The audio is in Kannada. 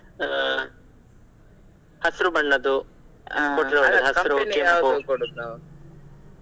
ಹಾ ಹಸರು ಬಣ್ಣದು .